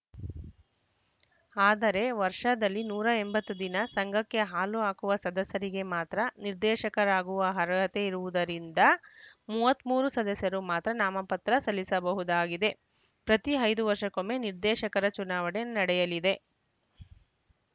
ಆದರೆ ವರ್ಷದಲ್ಲಿ ನೂರ ಎಂಬತ್ತು ದಿನ ಸಂಘಕ್ಕೆ ಹಾಲು ಹಾಕುವ ಸದಸ್ಯರಿಗೆ ಮಾತ್ರ ನಿರ್ದೇಶಕರಾಗುವ ಅರ್ಹತೆ ಇರುವುದರಿಂದ ಮೂವತ್ತ್ ಮೂರು ಸದಸ್ಯರು ಮಾತ್ರ ನಾಮಪತ್ರ ಸಲ್ಲಿಸಬಹುದಾಗಿದೆ ಪ್ರತಿ ಐದು ವರ್ಷಕ್ಕೊಮ್ಮೆ ನಿರ್ದೇಶಕರ ಚುನಾವಣೆ ನಡೆಯಲಿದೆ